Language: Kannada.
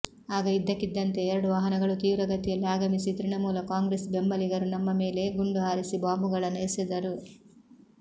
ಆಗ ಇದ್ದಕ್ಕಿದ್ದಂತೆ ಎರಡು ವಾಹನಗಳು ತೀವ್ರಗತಿಯಲ್ಲಿ ಆಗಮಿಸಿ ತೃಣಮೂಲ ಕಾಂಗ್ರೆಸ್ ಬೆಂಬಲಿಗರು ನಮ್ಮ ಮೇಲೆ ಗುಂಡು ಹಾರಿಸಿ ಬಾಂಬುಗಳನ್ನು ಎಸೆದರು